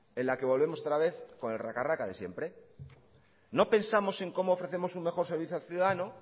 en la que volvemos otra vez con el raca raca de siempre no pensamos en cómo ofrecemos un mejor servicio al ciudadano